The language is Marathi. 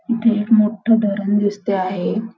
इथे मोठं धरण दिसते आहे.